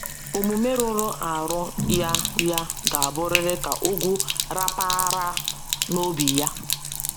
Omume rụrụ arụ ya ya ga-abụrịrị ka ogwu rapaara n’obi ya.